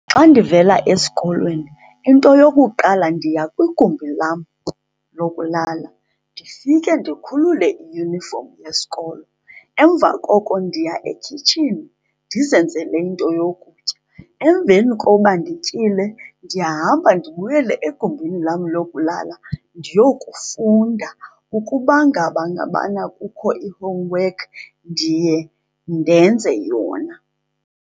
Xa ndivela esikolweni, into eyokuqala ndiya kwigumbi lam lokulala ndifike ndikhulule iyunifomu yesikolo. Emva koko ndiya ekhitshini ndizenzele into yokutya. Emveni koba ndityile ndiyahamba ndibuyele egumbini lam lokulala ndiyokufunda. Ukuba ngaba ngabana kukho i-homework ndiye ndenze yona.